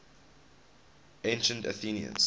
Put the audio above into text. ancient athenians